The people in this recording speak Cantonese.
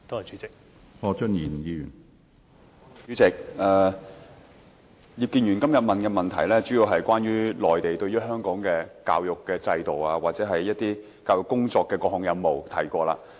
主席，葉建源議員今天的質詢，主要是關於內地對於香港的教育制度或一些教育工作的各項任務，這些已經提過。